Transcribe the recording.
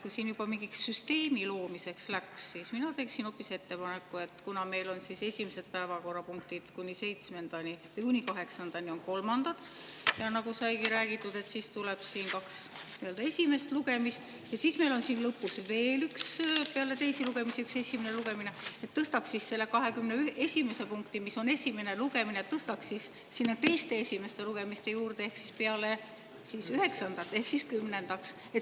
Kui siin juba mingiks süsteemi loomiseks läks, siis mina teeksin hoopis ettepaneku, et kuna meil on esimesed päevakorrapunktid kuni kaheksandani kolmandad, ja nagu sai räägitud, siis tuleb kaks esimest lugemist, ja siis meil on lõpus veel üks esimene lugemine peale teisi lugemisi, siis tõstaks selle 21. punkti, mis on esimene lugemine, sinna teiste esimeste lugemiste juurde ehk peale 9. punkti, 10. päevakorrapunktiks.